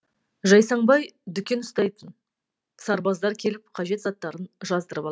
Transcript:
жайсаңбай дүкен ұстайтын сарбаздар келіп қажет заттарын жаздырып алатын